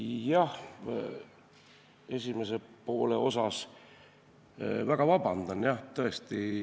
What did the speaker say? Jah, küsimuse esimese poole kohta ütlen, et palun väga vabandust, tõesti.